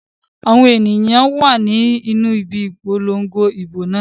Àwọn èyàn wà ni ibi Ìpolongo ìbò náà.